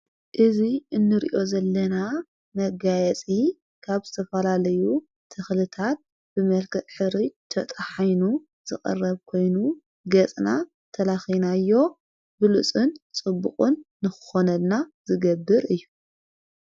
እዙ እኑርእዮ ዘለና መጋየጺ ካብ ዝተፈላለዩ ተኽልታት ብመርክዕ ሕሩጭ ተጠሓኑ ዘቐረብ ኮይኑ ገጽና ተላኺናዮ ብሉፁን ጽቡቕን ንኾነና ዝገብር እዩ።